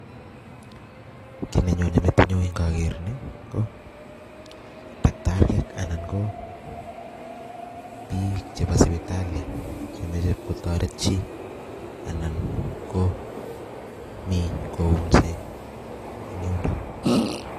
Kit nenyone metinyun indoker nii ko takitariek anan ko bik chebo sipitalishek chemoche kotoret chii anan ko mi kouse en yundok.